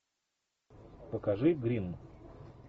покажи гримм